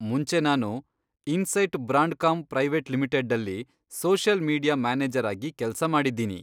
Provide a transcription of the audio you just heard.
ಮುಂಚೆ ನಾನು Insight Brandcom private ಲಿಮಿಟೆಡ್ಡಲ್ಲಿ ಸೋಷಿಯಲ್ ಮೀಡಿಯಾ ಮ್ಯಾನೇಜರ್ ಆಗಿ ಕೆಲ್ಸ ಮಾಡಿದ್ದೀನಿ.